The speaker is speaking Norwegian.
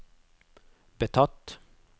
betatt